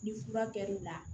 Ni fura kɛr'o la